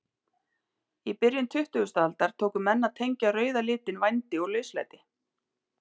Í byrjun tuttugustu aldar tóku menn að tengja rauða litinn vændi og lauslæti.